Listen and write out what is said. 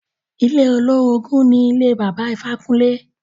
Ilé olórogùn ni ilé Bàbá Ifákúnle.